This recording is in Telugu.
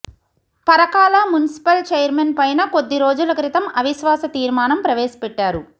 పరకాల మున్సిపల్ చైర్మన్ పైన కొద్ది రోజుల క్రితం అవిశ్వాస తీర్మానం ప్రవేశపెట్టారు